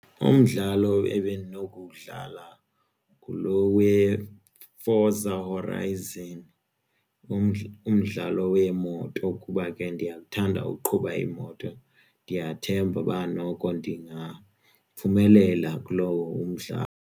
Umdlalo ebendinokuwudlala ngulo weForza Horizon umdlalo weemoto kuba ke ndiyakuthanda ukuqhuba imoto ndiyathemba uba noko ndingaphumelela kulowo umdlalo.